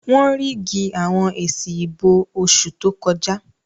Wọ́n ríìgì àwọn èsì ìbò oṣù tó kọjá